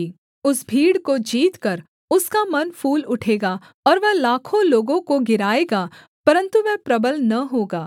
उस भीड़ को जीतकर उसका मन फूल उठेगा और वह लाखों लोगों को गिराएगा परन्तु वह प्रबल न होगा